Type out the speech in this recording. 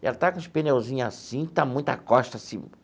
Ela está com os pneuzinhos assim, está muita costa assim.